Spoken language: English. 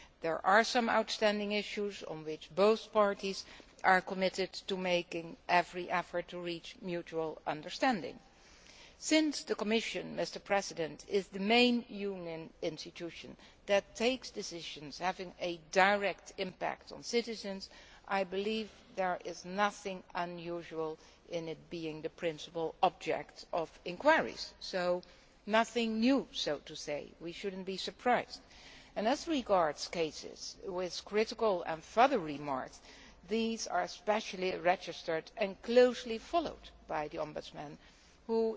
There are some outstanding issues on which both parties are committed to making every effort to reach mutual understanding. Since the Commission is the main Union institution that takes decisions which have a direct impact on citizens, I believe there is nothing unusual in it being the principal object of inquiries. So there is nothing new here and we should not be surprised. As regards cases with critical and further remarks, these are specially registered and closely followed by the Ombudsman,